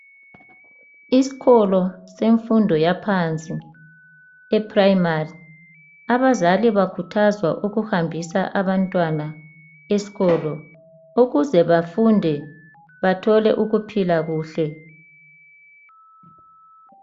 Esikolo semfundo yaphansi abazali bakhuthazwa ukuhambisa abantwana ukuze bathole ukuphila kuhle